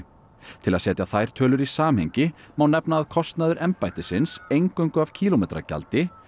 til að setja þær tölur í samhengi má nefna að kostnaður embættisins eingöngu af kílómetragjaldi